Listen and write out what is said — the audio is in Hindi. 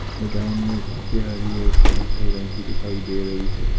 मैदान में घासे हरी और कत्थई रंग की दिखाई दे रही है।